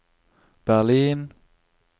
Berlin